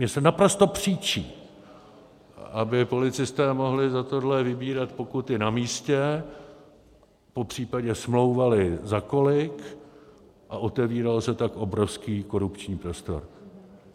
Mně se naprosto příčí, aby policisté mohli za tohle vybírat pokuty na místě, popřípadě smlouvali za kolik, a otevíral se tak obrovský korupční prostor.